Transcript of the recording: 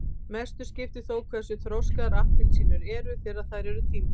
mestu skiptir þó hversu þroskaðar appelsínurnar eru þegar þær eru tíndar